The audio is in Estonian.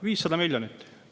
500 miljonit!